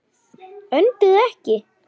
Önduðu ekki.